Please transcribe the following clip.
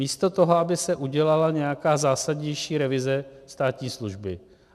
Místo toho, aby se udělala nějaká zásadnější revize státní služby.